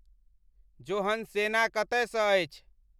जोहन्सेना कतय सँ अछि